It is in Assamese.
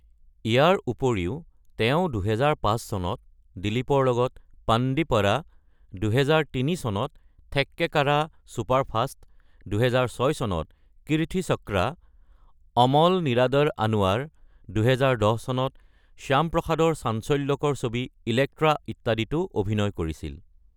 ইয়াৰ উপৰিও ২০০৫ চনত দিলীপৰ লগত পাণ্ডিপদা, ২০০৩ চনত থেক্কেকাৰা ছুপাৰফাষ্ট, ২০০৬ চনত কিৰ্থিচক্ৰা, অমল নীৰাদৰ আনোৱাৰ, ২০১০ চনত শ্যামপ্ৰসাদৰ চাঞ্চল্যকৰ ছবি ইলেক্ট্ৰা ইত্যাদিতো অভিনয় কৰিছিল।